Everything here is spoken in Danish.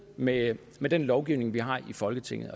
med med den lovgivning vi har i folketinget